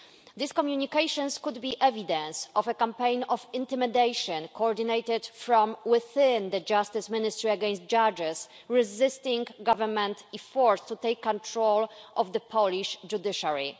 These communications could be evidence of a campaign of intimidation, coordinated from within the Justice Ministry, against judges resisting government efforts to take control of the Polish judiciary.